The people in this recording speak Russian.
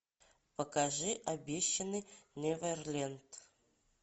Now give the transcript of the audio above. покажи обещанный неверленд